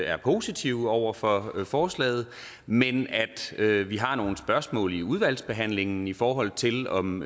er positive over for forslaget men at at vi har nogle spørgsmål vi i udvalgsbehandlingen i forhold til om